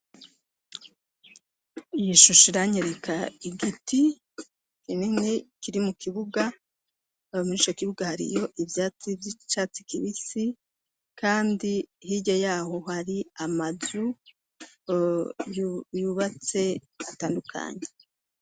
Yishusha iranyereka igiti kinene kiri mu kibuga abamunisha kibuga hariyo ivyatsi vy'icatsi kibisi, kandi hirye yaho hari amazu yubatse atandukanyi.